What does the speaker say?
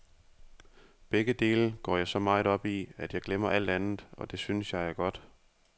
Begge dele går jeg så meget op i, at jeg glemmer alt andet, og det synes jeg er godt.